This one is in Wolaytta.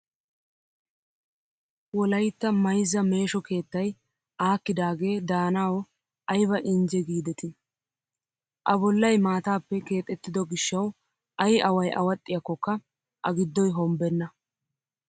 Wolayitta mayizza meesho keettayi aakkidaagee daanawo ayiba injje giideti. A bollayi maatappe keexettido gishshawu ayi awayi awaxxiyaakokka A giddoyi hombbenna.